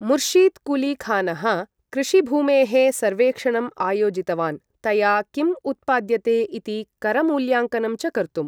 मुर्शिद् कुली खानः कृषिभूमेः सर्वेक्षणम् आयोजितवान्, तया किम् उत्पाद्यते इति करमूल्याङ्कनं च कर्तुम्।